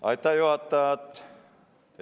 Aitäh, juhataja!